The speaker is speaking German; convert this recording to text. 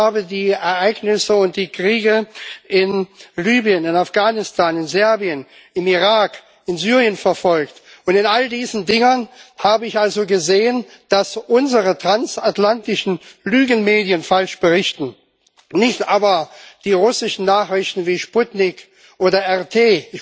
Ich habe die Ereignisse und die Kriege in Libyen, in Afghanistan, in Serbien, im Irak und in Syrien verfolgt, und in all diesen Dingen habe ich also gesehen, dass unsere transatlantischen Lügenmedien falsch berichten, nicht aber die russischen Nachrichten wie Sputnik oder RT.